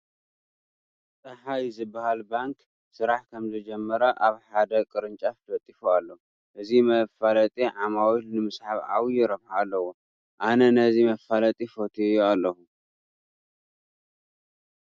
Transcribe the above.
ፀሓይ ዝበሃል ባንክ ስራሕ ከምዝጀመረ ኣብ ሓደ ቅርንጫፍ ለጢፉ ኣሎ፡፡ እዚ መፋለጢ ዓማዊል ንምስሓብ ዓብዪ ረብሓ ኣለዎ፡፡ ኣነ ነዚ መፋለጢ ፈትየዮ ኣለኹ፡፡